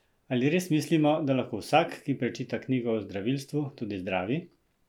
Ali res mislimo, da lahko vsak, ki prečita knjigo o zdravilstvu, tudi zdravi?